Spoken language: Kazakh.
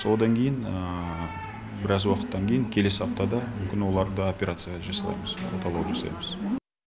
одан кейін біраз уақыттан кейін келесі аптада мүмкін оларды операция жасаймыз оталау жасаймыз